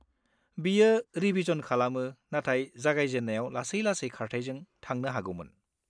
बियो रिभिजन खालामो नाथाय जागायजेननायाव लासै-लासै खारथाइजों थांनो हागौमोन।